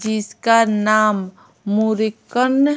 जिसका नाम मुर्रीक्क्न--